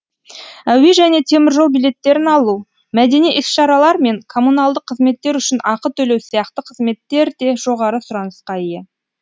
әуе және теміржол билеттерін алу мәдени іс шаралар мен коммуналдық қызметтер үшін ақы төлеу сияқты қызметтер де жоғары сұранысқа ие